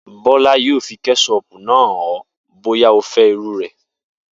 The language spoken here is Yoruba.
Bó̩la yóò fi ké̩s̩ó̩ò̩pù náà hàn ó̩ bóyá o fé̩ irú rè̩